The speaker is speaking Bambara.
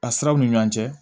A siraw ni ɲɔgɔn cɛ